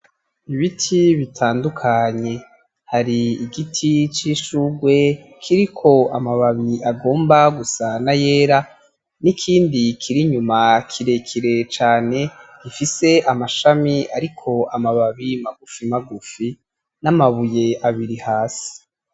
Ibiti bitandukanye, hari igiti c’ishurwe kiriko amababi agomba gusa n'ayera, n’ikindi kiri inyuma kirekire cane gifise amashami ariko amababi magufimagufi, n'amabuye abiri hasi.